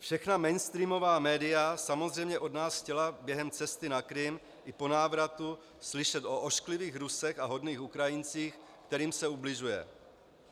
Všechna mainstreamová média samozřejmě od nás chtěla během cesty na Krym i po návratu slyšet o ošklivých Rusech a hodných Ukrajincích, kterým se ubližuje.